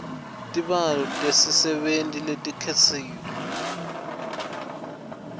tibalo tetisebenti letikhishwe